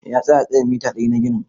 Eh, ya tsaya tsayin mita ɗari na ginin.